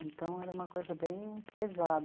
Então, era uma coisa bem pesada.